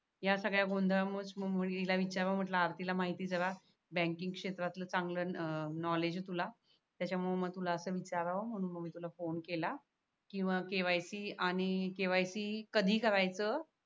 या सगळ्या गोंधळामुळेच मुलीला विचाराव म्हटला आरतीला माहिती सगळ बँकिंग क्षेत्रातलं चांगलं नॉलेज आहे तुला त्याच्यामुळे तुला असे विचारावं म्हणून मी तुला फोन केला किंवा KYC आणि KYC कधी करायचं